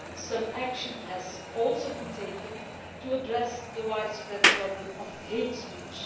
Some action has also been taken to address the widespread problem of hate speech.